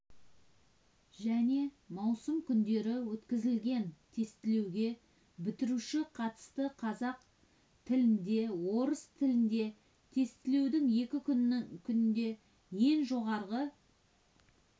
және маусым күндері өткізілген тестілеуге бітіруші қатысты қазақ тілінде орыс тілінде тестілеудің екі күнінде ең жоғары